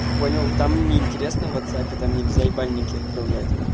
понял там неинтересно в ватсаппе там нельзя ебальники отправлять